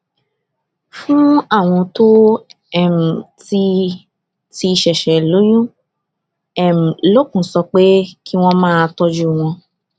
fún àwọn tó um ti ti ṣèṣè um lóyún um lókun sọ pé kí wón máa tójú wọn